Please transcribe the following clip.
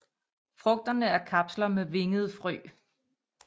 Frugterne er kapsler med vingede frø